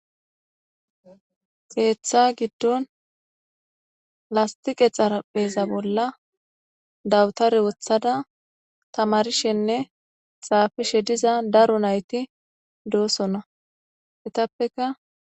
keththa gidon lastiqe xarapheza bola dawutare wotada tamarishenne xafishe diza daro nayti doosona etappeka.